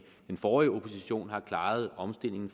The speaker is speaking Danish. den forrige opposition har klaret omstillingen